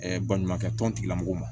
baɲumankɛ tɔn lamɔgɔ ma